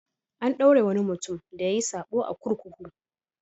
An ɗaure wani mutum da yayi saɓo a kurkuku.